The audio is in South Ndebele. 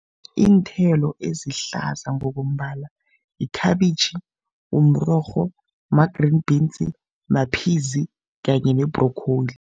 Iinthelo ezihlaza ngokombala yikhabitjhi, mrorho, ma-green beans, ma-peas kanye ne-broccoli.